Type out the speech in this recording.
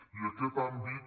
i aquest àmbit